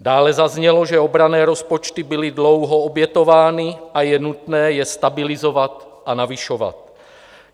Dále zaznělo, že obranné rozpočty byly dlouho obětovány a je nutné je stabilizovat a navyšovat.